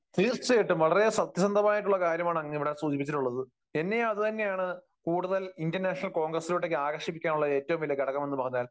തീർച്ചയായിട്ടും. വളരെ സത്യസന്ധമായിട്ടുള്ള കാര്യമാണ് അങ്ങ് ഇവിടെ സൂചിപ്പിച്ചിട്ടുള്ളത്. എന്നെയും അതുതന്നെയാണ് കൂടുതൽ ഇന്ത്യൻ നാഷണൽ കോൺഗ്രസിലോട്ടൊക്കെ ആകർഷിക്കാനുള്ള ഏറ്റവും വലിയ ഘടകം എന്ന് പറഞ്ഞാൽ.